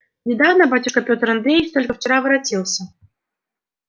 недавно батюшка пётр андреевич только вчера воротился